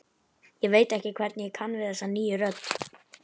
Ég veit ekki hvernig ég kann við þessa nýju rödd.